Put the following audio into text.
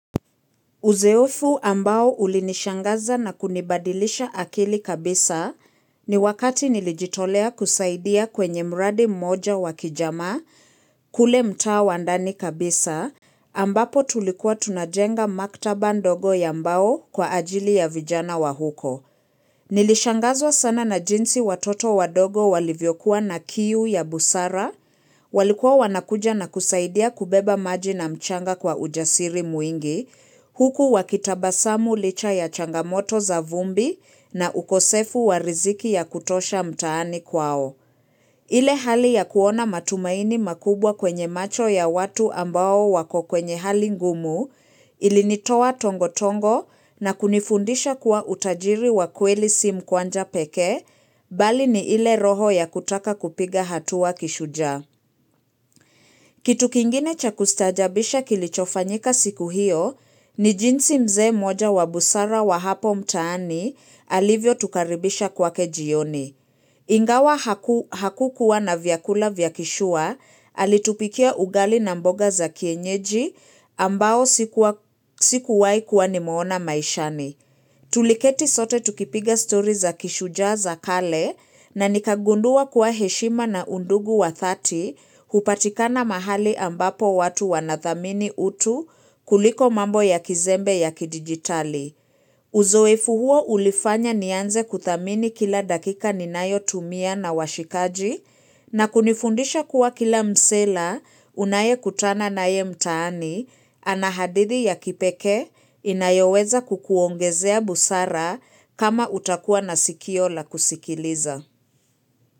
Uzoefu ambao ulinishangaza na kunibadilisha akili kabisa, ni wakati nilijitolea kusaidia kwenye mradi mmoja wa kijamaa kule mtaa wa ndani kabisa, ambapo tulikuwa tunajenga maktaba ndogo ya mbao kwa ajili ya vijana wa huko. Nilishangazwa sana na jinsi watoto wadogo walivyokuwa na kiu ya busara, walikuwa wanakuja na kusaidia kubeba maji na mchanga kwa ujasiri mwingi, huku wakitabasamu licha ya changamoto za vumbi na ukosefu wa riziki ya kutosha mtaani kwao. Ile hali ya kuona matumaini makubwa kwenye macho ya watu ambao wako kwenye hali ngumu ilinitoa tongotongo na kunifundisha kuwa utajiri wa kweli si mkwanja pekee bali ni ile roho ya kutaka kupiga hatua kishujaa. Kitu kingine cha kustaajabisha kilichofanyika siku hiyo ni jinsi mzee mmoja wa busara wa hapo mtaani, alivyotukaribisha kwake jioni. Ingawa hakukua na vyakula vya kishua, alitupikia ugali na mboga za kienyeji ambao sikuwahi kua kuona maishani. Tuliketi sote tukipiga story za kishujaa za kale, na nikagundua kuwa heshima na undugu wa dhati hupatikana mahali ambapo watu wanadhamini utu kuliko mambo ya kizembe ya kidijitali. Uzoefu huo ulifanya nianze kuthamini kila dakika ninayotumia na washikaji na kunifundisha kuwa kila msela unayekutana naye mtaani ana hadithi ya kipekee inayoweza kukuongezea busara kama utakua na sikio la kusikiliza.